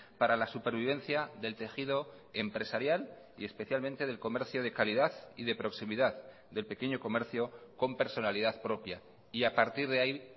para la supervivencia del tejido empresarial y especialmente del comercio de calidad y de proximidad del pequeño comercio con personalidad propia y a partir de ahí